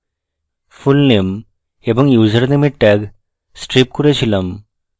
fullname এবং username we tags striped করেছিলাম